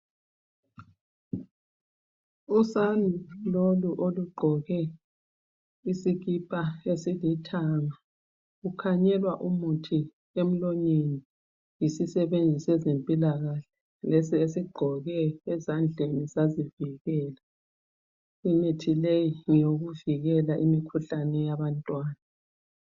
Usane lolu olugqoke isikipa esilithanga ukhanyelwa umuthi emlonyeni yisisebenzi seze mpilakahle lesi esigqoke ezandleni sazivikela. Imithi leyi ngeyokuvikela imikhuhlane eyabantwana.